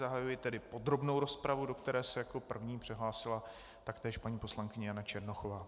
Zahajuji tedy podrobnou rozpravu, do které se jako první přihlásila taktéž paní poslankyně Jana Černochová.